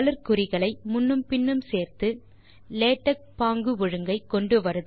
குறிகளை முன்னும் பின்னும் சேர்த்து லேடக் பாங்கு ஒழுங்கை கொண்டுவருதல்